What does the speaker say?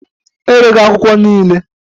Erego akwụkwọ niile.